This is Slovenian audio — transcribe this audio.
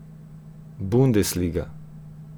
Bundesliga.